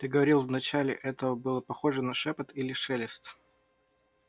ты говорил вначале это было похоже на шёпот или на шелест